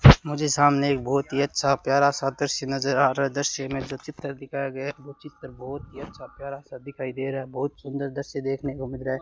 मुझे सामने एक बहोत ही अच्छा प्यारा सा दृश्य नजर आ रहा है दृश्य में जो चित्र दिखाया गया वो चित्र बहोत ही अच्छा प्यारा सा दिखाई दे रहा है बहोत सुंदर दृश्य देखने को मिल रहा है।